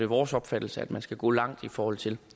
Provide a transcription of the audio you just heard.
vores opfattelse at man skal gå langt i forhold til